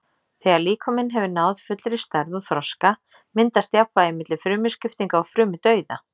Þegar líkaminn hefur náð fullri stærð og þroska myndast jafnvægi milli frumuskiptinga og frumudauða.